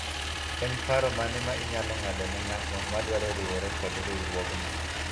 en paro mane ma inyalo ng'ado ne ng'at madwaro riwore kod riwruogno